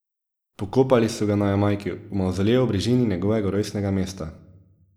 Pokopali so ga na Jamajki, v mavzoleju v bližini njegovega rojstnega mesta.